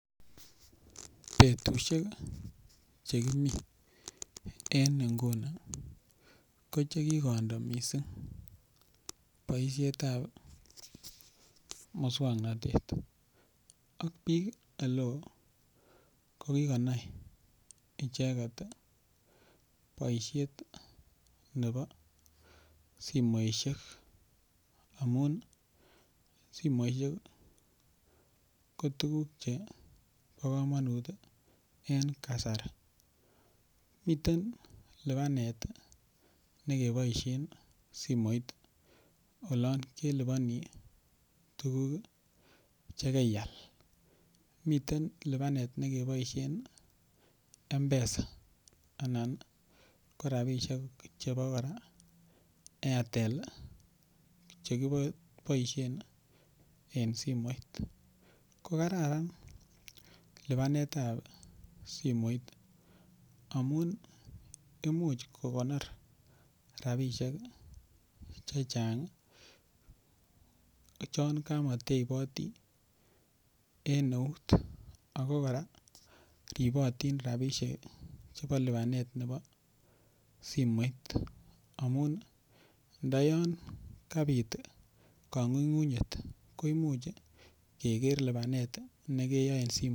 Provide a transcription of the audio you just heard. Betusiek chegimi en nguni ko chegikondo missing boisiet ab musong'notet, ko biik oleo kogikonai icheget boisiet nebo simoisiek amun simoisiek ko tuguk chebo komonut en kasari, miten lipanet nekeboisien simoit olon keliponi tuguk chegeial, miten lipanet nekeboisien Mpesa anan ko rabisiek chebo kora Airtel chekiboisien en simoit, ko kararan lipanet ab simoit amun imuch kogonor rabisiek chechang' chon komoteiboti en eut ako kora ribotin rabisiek chebo lipanet nebo simoit amun nda yan kabiit konyunyuny'et ko imuch keger lipanet nekeyoe en simoit.